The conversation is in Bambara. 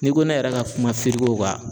N'i ko ne yɛrɛ ka kuma kan